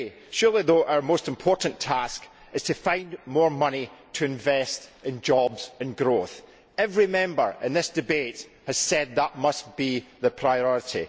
Surely, though, our most important task is to find more money to invest in jobs and growth. Every Member in this debate has said that must be the priority.